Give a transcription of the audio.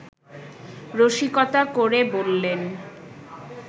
রসিকতা করে বললেন